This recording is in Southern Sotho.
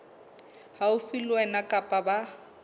haufi le wena kapa ba